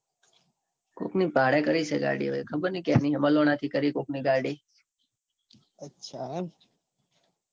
કોક ની ભાડે કરી છે. ગાડી હવે ખબર નાઈ કેની હે માલોના થી કરી કોક ની ગાડી અચ્છા એમ